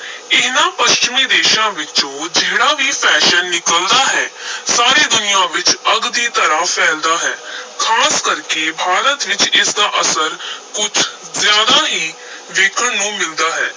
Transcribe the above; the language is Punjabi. ਇਨ੍ਹਾਂ ਪੱਛਮੀ ਦੇਸ਼ਾਂ ਵਿੱਚੋਂ ਜਿਹੜਾ ਵੀ fashion ਨਿਕਲਦਾ ਹੈ ਸਾਰੀ ਦੁਨੀਆਂ ਵਿਚ ਅੱਗ ਦੀ ਤਰ੍ਹਾਂ ਫੈਲਦਾ ਹੈ ਖਾਸ ਕਰਕੇ ਭਾਰਤ ਵਿਚ ਇਸ ਦਾ ਅਸਰ ਕੁਝ ਜ਼ਿਆਦਾ ਹੀ ਵੇਖਣ ਨੂੰ ਮਿਲਦਾ ਹੈ।